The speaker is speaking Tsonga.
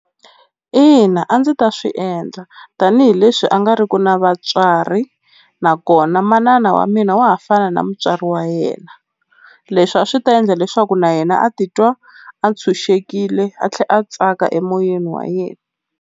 Ina a ndzi ta swi endla tanihileswi a nga riki na vatswari nakona manana wa mina wa ha fana na mutswari wa yena, leswi a swi ta endla leswaku na yena a titwa a tshunxekile a tlhela a tsaka emoyeni wa yena.